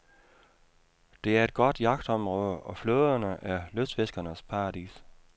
Det er et godt jagtområde, og floderne er lystfiskernes paradis.